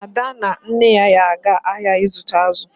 Ada na nne ya ga-aga ahịa ịzụta azụ.